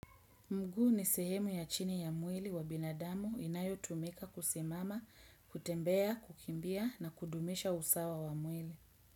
Mguu ni sehemu ya chini ya mwili wa binadamu inayo tumika kusimama, kutembea, kukimbia na kudumisha usawa wa mwili.